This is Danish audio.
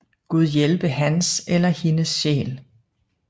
Gud hjælpe hans eller hendes sjæl